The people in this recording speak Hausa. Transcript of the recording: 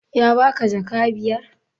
Ya baka jaka biyar?